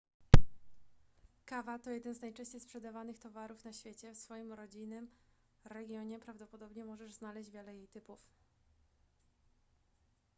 kawa to jeden z najczęściej sprzedawanych towarów na świecie w swoim rodzinnym regionie prawdopodobnie możesz znaleźć wiele jej typów